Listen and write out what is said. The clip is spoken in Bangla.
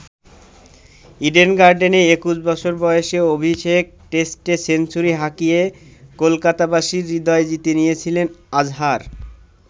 ইডেন গার্ডেনে ২১ বছর বয়সে অভিষেক টেস্টে সেঞ্চুরি হাঁকিয়ে কলকাতাবাসীর হৃদয় জিতে নিয়েছিলেন আজহার।